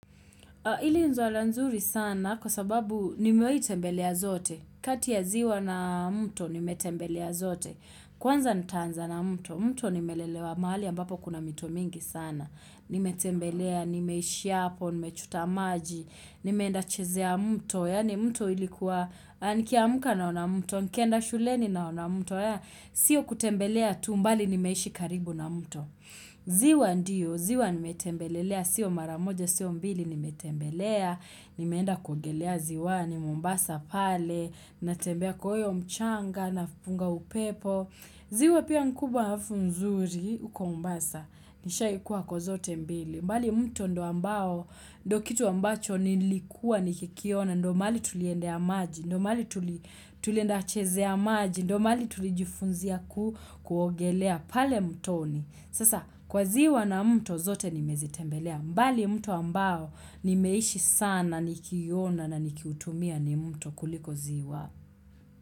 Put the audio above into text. Ili ni swala nzuri sana kwa sababu nimewai tembelea zote. Kati ya ziwa na mto nimetembelea zote. Kwanza nitaanza na mto, mto nimelelewa mahali ambapo kuna mito mingi sana. Nimetembelea, nimeishi hapo, nimechota maji, nimeenda chezea mto. Yaani mto ilikuwa, nikiamka naona mto, nikenda shuleni naona mto. Sio kutembelea tu bali nimeishi karibu na mto. Ziwa ndiyo, ziwa nimetembelelea, sio mara moja, sio mbili nimetembelea, nimeenda kuogelea ziw ni mombasa pale, natembea kwa hiyo mchanga napunga upepo, ziwa pia ni kubwa alafu nzuri uko mombasa, nishai kuwa kwa zote mbili. Bali mto ndio ambao, ndio kitu ambacho nilikua nikikiona, ndio mahali tuliendea maji, ndio mahali tulienda chezea maji, ndo mahali tulijifunzia kuogelea pale mtoni. Sasa kwa ziwa na mto zote nimezitembelea. Bali mto ambao nimeishi sana nikiiona na nikiutumia ni mto kuliko ziwa.